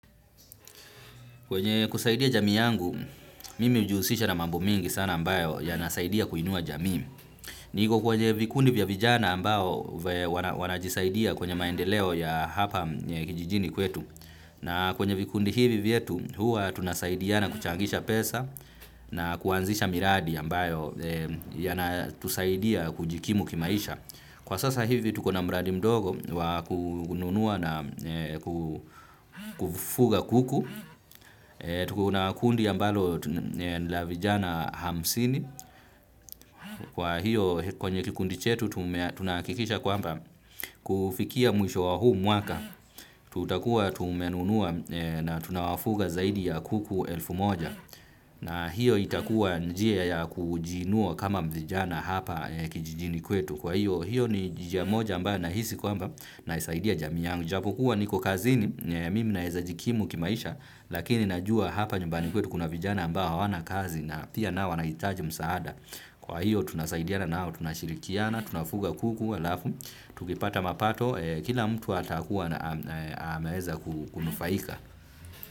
Kwenye kusaidia jamii yangu, mimi hujisisha na mambo mingi sana ambayo yanasaidia kuinua jamii. Niko kwenye vikundi vya vijana ambao wanajisaidia kwenye maendeleo ya hapa kijijini kwetu. Na kwenye vikundi hivi vyetu, huwa tunasaidiana kuchangisha pesa na kuanzisha miradi ambayo yanatusaidia kujikimu kimaisha. Kwa sasa hivi tuko na mradi mdogo wa kununua na kufuga kuku, tukona kundi ambalo la vijana hamsini, kwa hio kwenye kikundi chetu tunahakikisha kwamba kufikia mwisho wa huu mwaka, tutakuwa tumenunua na tunawafuga zaidi ya kuku elfu moja. Na hio itakuwa njia ya kujiinua kama vijana hapa kijijini kwetu. Kwa hio, hio ni njia moja ambayo nahisi kwamba nasaidia jamii yangu. Japo kuwa niko kazini, mimi naweza jikimu kimaisha, lakini najua hapa nyumbani kwetu kuna vijana ambao hawana kazi na pia nao wanahitaji msaada. Kwa hio, tunasaidiana nao, tunashirikiana, tunafuga kuku, halafu tukipata mapato, kila mtu atakuwa ameweza kunufaika.